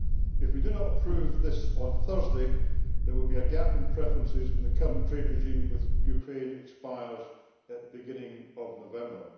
If we do not approve this on Thursday, there will be a gap in preferences when the current trade regime with Ukraine expires at the beginning of November.